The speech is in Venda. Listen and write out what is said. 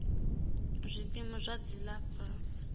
zwikimu zwa dzilafho kanzhi zwi